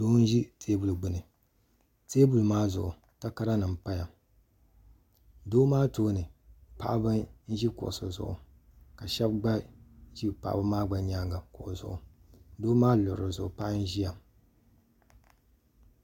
Doo n ʒi teebuli gbuni teebuli maa zuɣu takaranim n paya doo maa tooni paɣaba n ʒi kuɣusi zuɣu ka shɛb gba ʒi paɣaba maa nyaanga kuɣu zuɣu doo maa luɣili zuɣu paɣa n ʒiya.